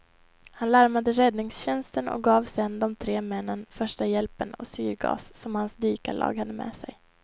Han larmade räddningstjänsten och gav sedan de tre männen första hjälpen och syrgas som hans dykarlag hade med sig.